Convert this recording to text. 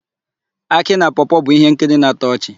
Akị na Pọọ-pọọ bụ íhénkiri na-atọ ọchị.